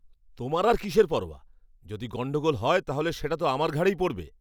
তোমার আর কিসের পরোয়া? যদি গণ্ডগোল হয় তাহলে সেটা তো আমার ঘাড়েই পড়বে।